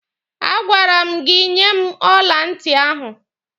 A gwara m gị nye m ọla ntị ahụ!